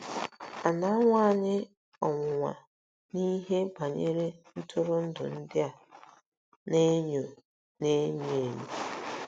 À um na-anwa anyị ọnwụnwa n'ihe um banyere ntụrụndụ ndị a um na-enyo um na-enyo enyo?